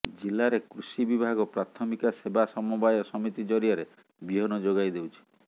ଜିଲ୍ଲାରେ କୃଷି ବିଭାଗ ପ୍ରାଥମିକ ସେବା ସମବାୟ ସମିତି ଜରିଆରେ ବିହନ ଯୋଗାଇ ଦେଉଛି